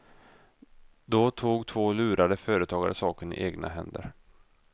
Då tog två lurade företagare saken i egna händer.